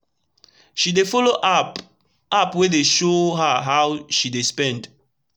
she dey follow app app wey dey show her how she dey spend